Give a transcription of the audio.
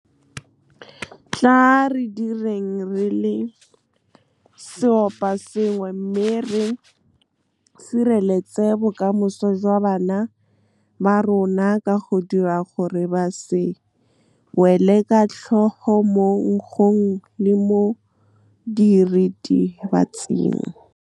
Tla re direng re le seoposengwe mme re sireletse bokamoso jwa bana ba rona ka go dira gore ba se wele ka tlhogo mo nkgong le mo diritibatsing. Tla re direng re le seoposengwe mme re sireletse bokamoso jwa bana ba rona ka go dira gore ba se wele ka tlhogo mo nkgong le mo diritibatsing.